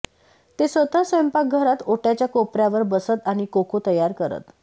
ते स्वतः स्वयंपाकघरात ओट्याच्या कोपऱ्यावर बसत आणि कोको तयार करत